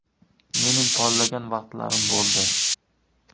Mening porlagan vaqtlarim bo‘ldi.